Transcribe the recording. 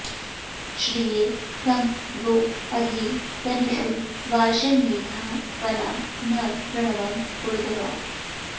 श्रि॒ये कं वो॒ अधि॑ त॒नूषु॒ वाशी॑र्मे॒धा वना॒ न कृ॑णवन्त ऊ॒र्ध्वा